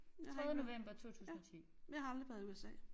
Jeg har ikke ja jeg har aldrig været i USA